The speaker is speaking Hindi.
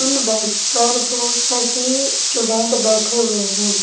उन बेंच पर बहोत सारी स्टूडेंट बैठे हुए हैं।